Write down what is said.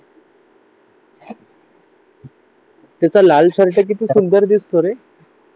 त्याचा लाल शर्ट किती सुंदर दिसतो रे